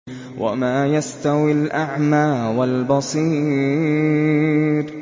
وَمَا يَسْتَوِي الْأَعْمَىٰ وَالْبَصِيرُ